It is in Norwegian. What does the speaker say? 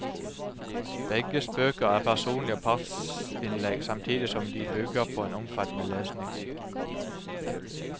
Begges bøker er personlige partsinnlegg samtidig som de bygger på en omfattende lesning.